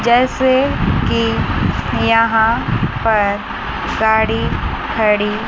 जैसे कि यहां पर गाड़ी खड़ी--